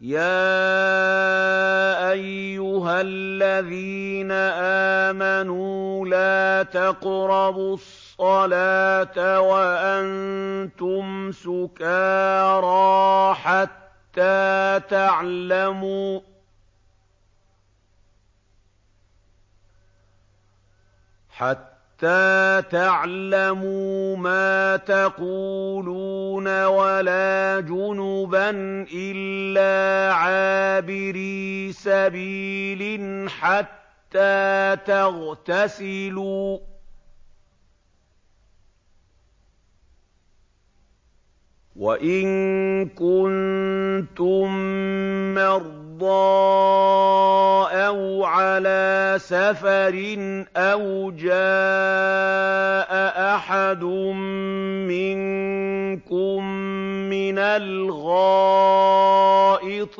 يَا أَيُّهَا الَّذِينَ آمَنُوا لَا تَقْرَبُوا الصَّلَاةَ وَأَنتُمْ سُكَارَىٰ حَتَّىٰ تَعْلَمُوا مَا تَقُولُونَ وَلَا جُنُبًا إِلَّا عَابِرِي سَبِيلٍ حَتَّىٰ تَغْتَسِلُوا ۚ وَإِن كُنتُم مَّرْضَىٰ أَوْ عَلَىٰ سَفَرٍ أَوْ جَاءَ أَحَدٌ مِّنكُم مِّنَ الْغَائِطِ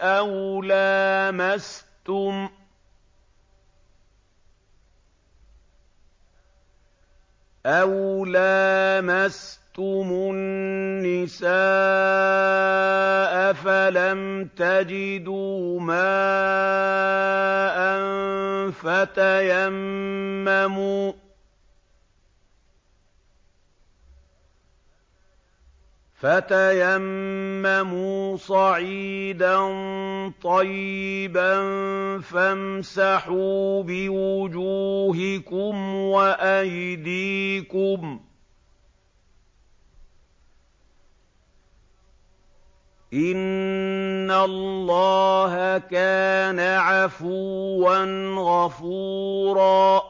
أَوْ لَامَسْتُمُ النِّسَاءَ فَلَمْ تَجِدُوا مَاءً فَتَيَمَّمُوا صَعِيدًا طَيِّبًا فَامْسَحُوا بِوُجُوهِكُمْ وَأَيْدِيكُمْ ۗ إِنَّ اللَّهَ كَانَ عَفُوًّا غَفُورًا